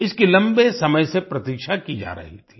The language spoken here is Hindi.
इसकी लम्बे समय से प्रतीक्षा की जा रही थी